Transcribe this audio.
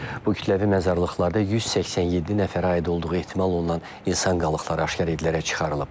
Bu kütləvi məzarlıqlarda 187 nəfərə aid olduğu ehtimal olunan insan qalıqları aşkar edilərək çıxarılıb.